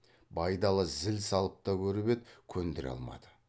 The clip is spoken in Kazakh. байдалы зіл салып та көріп еді көндіре алмады